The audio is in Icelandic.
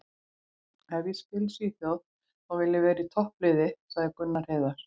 Ef ég spila í Svíþjóð þá vil ég vera í toppliði, sagði Gunnar Heiðar.